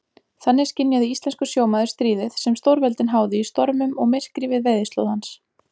Þannig skynjaði íslenskur sjómaður stríðið, sem stórveldin háðu í stormum og myrkri við veiðislóð hans.